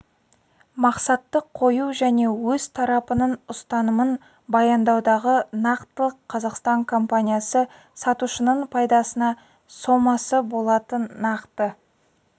мақсатты қою және өз тарапының ұстанымын баяндаудағы нақтылық қазақстан компаниясы сатушының пайдасына сомасы болатын нақты